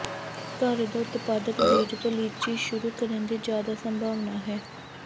ਘਰ ਦਾ ਉਤਪਾਦਕ ਬੀਜ ਤੋਂ ਲੀਚੀ ਸ਼ੁਰੂ ਕਰਨ ਦੀ ਜ਼ਿਆਦਾ ਸੰਭਾਵਨਾ ਹੈ